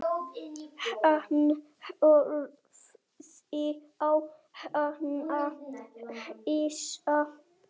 Hann horfði á hana hissa.